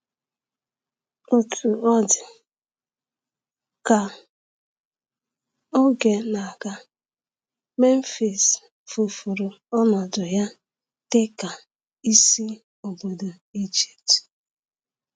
Otú ọ dị, ka oge na-aga, Memphis tufuru ọnọdụ ya dị ka isi obodo Ijipt.